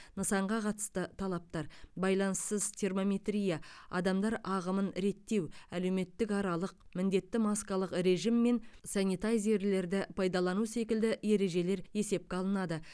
нысанға қатысты талаптар байланыссыз термометрия адамдар ағымын реттеу әлеуметтік аралық міндетті маскалық режим мен санитайзерлерді пайдалану секілді ережелер есепке алынады